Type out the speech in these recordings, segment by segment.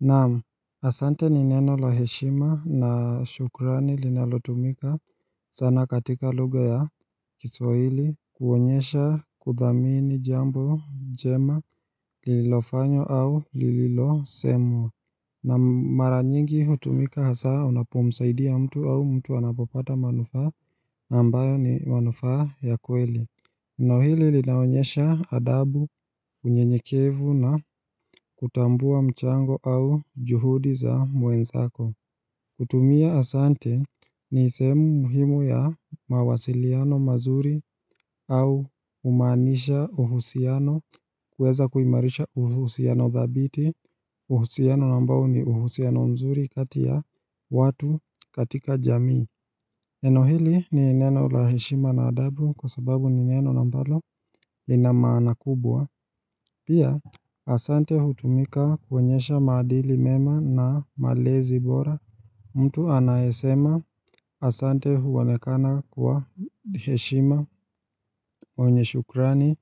Naam asante ni neno la heshima na shukrani linalotumika sana katika lugha ya kiswahili kuonyesha kuthamini jambo jema lililofanywa au lililosemwa na mara nyingi hutumika hasaa unapomsaidia mtu au mtu anapopata manufaa na ambayo ni manufaa ya kweli neno hili linaonyesha adabu unyenyekevu na kutambua mchango au juhudi za mwenzako kutumia asante ni sehemu muhimu ya mawasiliano mazuri au humaanisha uhusiano kuweza kuimarisha uhusiano dhabiti uhusiano na ambao ni uhusiano mzuri kati ya watu katika jamii Neno hili ni neno la heshima na adabu kwa sababu ni neno na ambalo lina maana kubwa Pia Asante hutumika kuonyesha maadili mema na malezi bora mtu anayesema Asante huonekana kwa heshima mwenye shukrani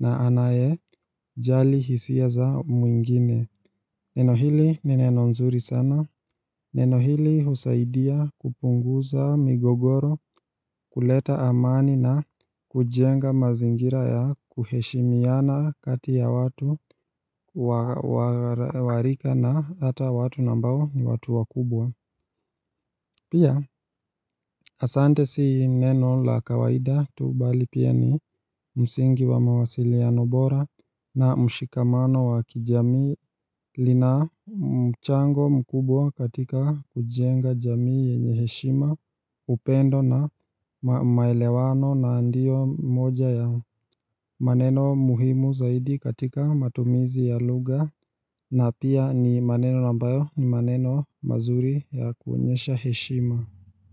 na anayejali hisia za mwingine Neno hili ni neno nzuri sana Neno hili husaidia kupunguza migogoro kuleta amani na kujenga mazingira ya kuheshimiana kati ya watu wa warika na hata watu na ambao ni watu wakubwa Pia asante si neno la kawaida tu bali pia ni msingi wa mawasiliano bora na mshikamano wa kijamii lina mchango mkubwa katika kujenga jamii yenye heshima upendo na maelewano na ndiyo moja ya maneno muhimu zaidi katika matumizi ya lugha na pia ni maneno na ambayo ni maneno mazuri ya kuonyesha heshima.